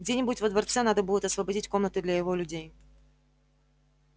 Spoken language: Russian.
где-нибудь во дворце надо будет освободить комнаты для его людей